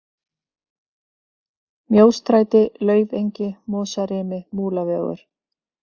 Mjóstræti, Laufengi, Mosarimi, Múlavegur